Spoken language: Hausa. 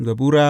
Zabura Sura